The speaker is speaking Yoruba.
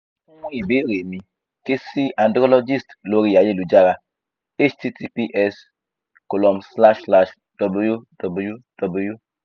fun ibeere mi ke si andrologist lori ayelujara https colom slash slash www